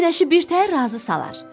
Günəşi birtəhər razı salar.